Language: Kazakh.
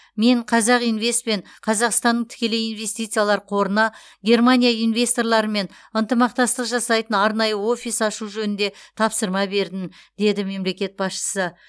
мен қазақинвест пен қазақстанның тікелей инвестициялар қорына германия инвесторларымен ынтымақтастық жасайтын арнайы офис ашу жөнінде тапсырма бердім деді мемлекет басшысы